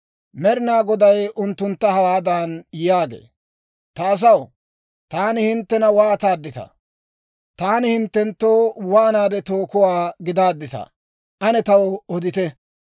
Med'ina Goday unttuntta hawaadan yaagee; «Ta asaw, taani hinttena waataadditaa? Taani hinttenttoo waanaade tookuwaa gidaadditaa? Ane taw odite!